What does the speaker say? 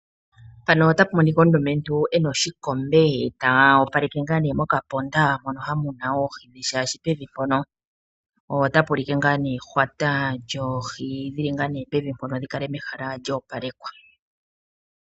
Mpano otapu monika omulumentu ena oshikombe ta opaleke okaponda ha muninwa oohi shaashi pevi mpono otapu ulike ngaa nee puna ehwata lyoohi dhili pevi mpono, dhi kale mehala lya opalekwa.